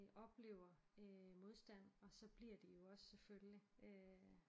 Oplever øh modstand og så bliver de jo også selvfølgelig øh